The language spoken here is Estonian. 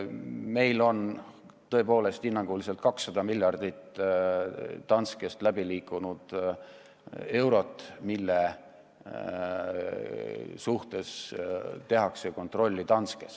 Meil on tõepoolest hinnanguliselt 200 miljardit eurot Danskest läbi liikunud ja seda praegu kontrollitakse Danskes.